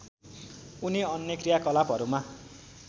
उनी अन्य कृयाकलापहरूमा